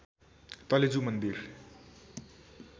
तलेजु मन्दिर